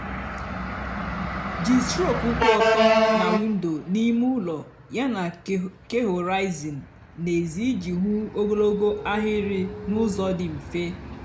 jí strok kwụ ótọ nà windo n'ímé úló yáná kehoraizin n'èzí íjì hú ógologo áhịrị n'úzọ dị mfè.